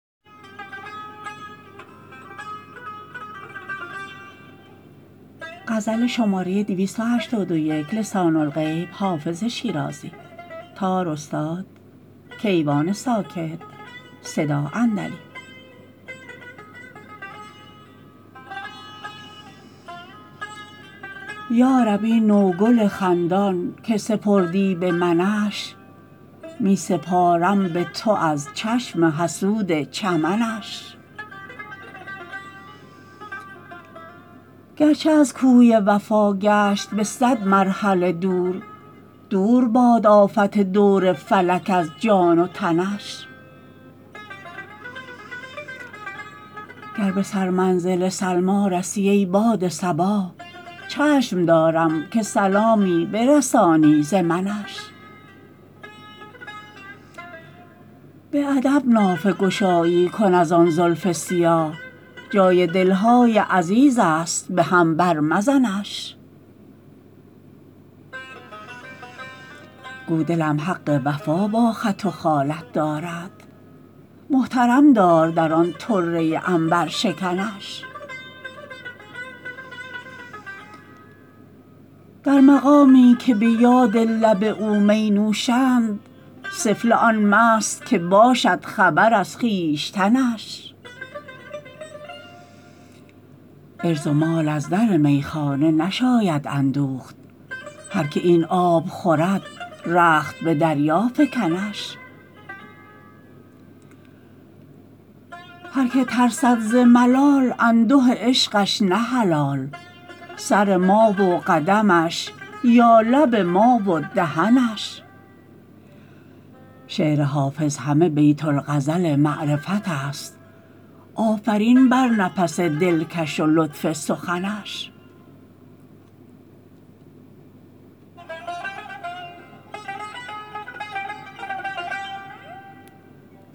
یا رب این نوگل خندان که سپردی به منش می سپارم به تو از چشم حسود چمنش گرچه از کوی وفا گشت به صد مرحله دور دور باد آفت دور فلک از جان و تنش گر به سرمنزل سلمی رسی ای باد صبا چشم دارم که سلامی برسانی ز منش به ادب نافه گشایی کن از آن زلف سیاه جای دل های عزیز است به هم بر مزنش گو دلم حق وفا با خط و خالت دارد محترم دار در آن طره عنبرشکنش در مقامی که به یاد لب او می نوشند سفله آن مست که باشد خبر از خویشتنش عرض و مال از در میخانه نشاید اندوخت هر که این آب خورد رخت به دریا فکنش هر که ترسد ز ملال انده عشقش نه حلال سر ما و قدمش یا لب ما و دهنش شعر حافظ همه بیت الغزل معرفت است آفرین بر نفس دلکش و لطف سخنش